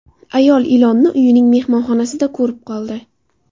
Ayol ilonni uyining mehmonxonasida ko‘rib qoldi.